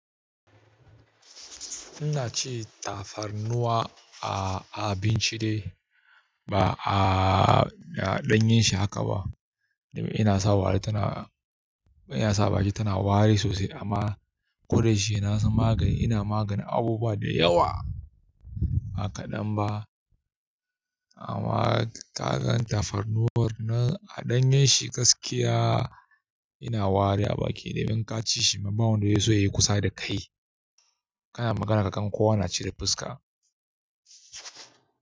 Ina cin tafarnuwa a abinci ba a ɗanyen shi haka ba. Innasa a baki tana wari sosai amma ko da yaushe na san magani, yana maganin abubuwa da yawa. Ba kaɗan ba. Amma ka ga tafarnuwar nan a ɗanyen shi gaskiya yana wari a baki idan ka ci shi. Ba wanda zai so ya yi kusa da kai. Kana magana kowa na kauda fuska.